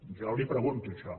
jo li pregunto això